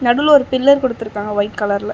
நடுவுல ஒரு பில்லர் குடுத்திருக்காங்க ஒயிட் கலர்ல .